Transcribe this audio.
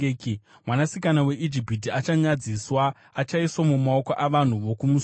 Mwanasikana weIjipiti achanyadziswa, achaiswa mumaoko avanhu vokumusoro.”